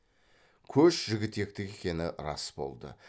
көш жігітектікі екені рас болды